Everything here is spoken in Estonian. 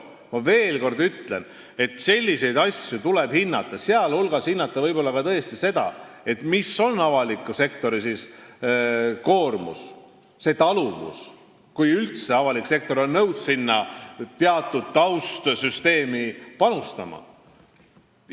Ma veel kord ütlen, et selliseid asju tuleb hinnata, sh hinnata võib-olla tõesti seda, kui suur on avaliku sektori koormus, kui suur on see taluvus, kui üldse avalik sektor on nõus teatud taustsüsteemi panustama.